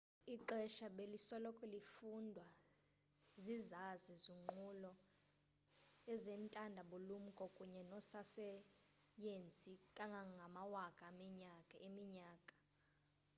ixesha belisoloko lifundwa zizazi zonqulu ezentanda bulumko kunye noososayensi kangangamawaka eminyaka